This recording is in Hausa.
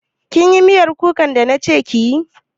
Kin yi miyar kukan da na ce kiyi?